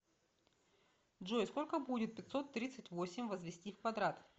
джой сколько будет пятьсот тридцать восемь возвести в квадрат